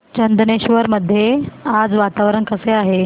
चंदनेश्वर मध्ये आज वातावरण कसे आहे